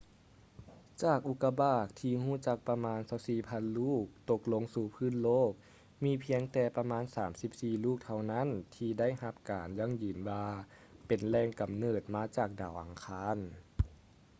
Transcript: ຈາກອຸກາບາກທີ່ຮູ້ຈັກປະມານ 24,000 ລູກ ຕົກລົງສູ່ພື້ນໂລກ ມີພຽງແຕ່ປະມານ 34 ລູກເທົ່ານັ້ນທີ່ໄດ້ຮັບການຢັ້ງຢືນວ່າເປັນແຫຼງກຳເນີດມາຈາກດາວອັງຄານ